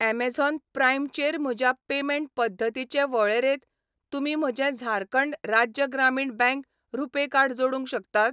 Amazon Prime चेर म्हज्या payment पद्दतींचे वळेरेंत तुमी म्हजें झारखंड राज्य ग्रामीण बँक रुपे कार्ड जोडूंक शकतात?